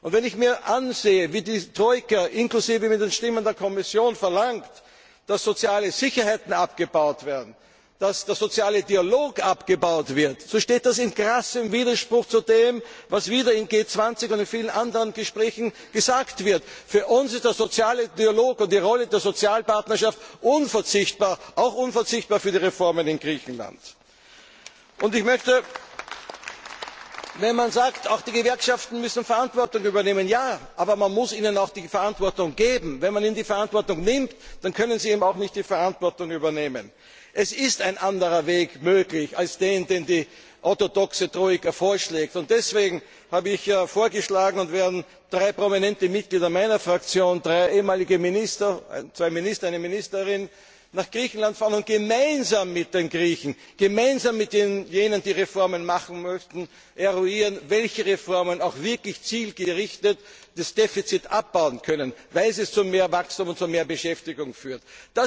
Wenn ich mir ansehe, wie diese Troika auch mit den Stimmen der Kommission verlangt, dass soziale Sicherheiten abgebaut werden, dass der soziale Dialog abgebaut wird, so steht das in krassem Widerspruch zu dem, was wieder auf G20 Gipfeln und in vielen anderen Gesprächen gesagt wird. Für uns sind der soziale Dialog und die Rolle der Sozialpartnerschaft unverzichtbar, auch unverzichtbar für die Reformen in Griechenland! Man sagt, auch die Gewerkschaften müssen Verantwortung übernehmen. Ja, aber man muss ihnen auch die Verantwortung geben! Wenn man ihnen die Verantwortung nimmt, dann können sie auch nicht die Verantwortung übernehmen. Es ist ein anderer Weg möglich als der, den die orthodoxe Troika vorschlägt. Deswegen habe ich vorgeschlagen und werden drei prominente Mitglieder meiner Fraktion, drei ehemalige Minister zwei Minister, eine Ministerin nach Griechenland fahren und gemeinsam mit den Griechen, gemeinsam mit jenen, die Reformen machen möchten, eruieren, mit welchen Reformen auch wirklich zielgerichtet das Defizit abgebaut werden kann, weil sie zu mehr Wachstum und zu mehr Beschäftigung